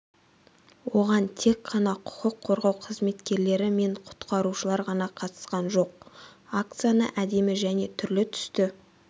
оған тек қана құқық қорғау қызметкерлері мен құтқарушылар ғана қатысқан жоқ акцияны әдемі және түрлі түсті